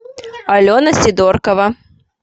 алена сидоркова